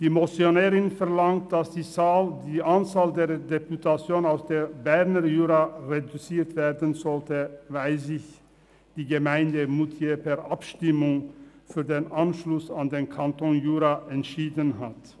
Die Motionärin verlangt, dass die Anzahl der Deputation aus dem Berner Jura reduziert werden soll, weil sich die Gemeinde Moutier per Abstimmung für den Anschluss an den Kanton Jura entschieden hat.